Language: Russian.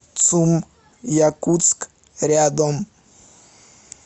цум якутск рядом